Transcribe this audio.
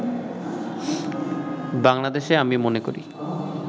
বাংলাদেশে আমি মনে করি